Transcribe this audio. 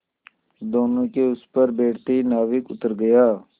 दोेनों के उस पर बैठते ही नाविक उतर गया